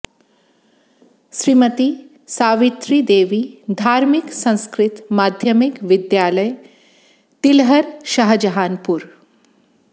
श्रीमती सावित्री देबी धार्मिक संस्कृत माध्यमिक विद्यालय तिलहर शाहजहाँनपुर